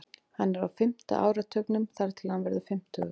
Hann er á fimmta áratugnum þar til hann verður fimmtugur.